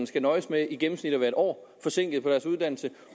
skal nøjes med i gennemsnit at være en år forsinket på deres uddannelse